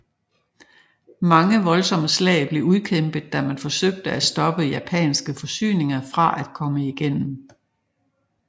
Mange voldsomme slag blev udkæmpet da man forsøgte at stoppe japanske forsyninger fra at komme igennem